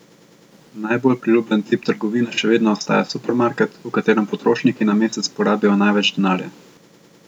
Najbolj priljubljen tip trgovine še vedno ostaja supermarket, v katerem potrošniki na mesec porabijo največ denarja.